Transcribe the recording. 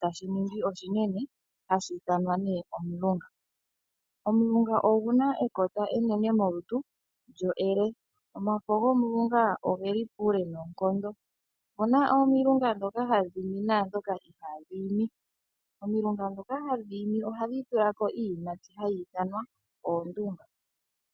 ano shaninga oshinene hashi ithanwa nee omulunga. Omulunga oguna ekota enene molutu lyo e le. Omafo gomulunga ogeli puule noonkondo oshoka woo opuna omulunga dhoka hadhi I mi naadhoka I hadhi i mi. Omulunga dhoka hadhi I mi ohadhi tulako iiyimati mbyoka hayi ithanwa oondunga.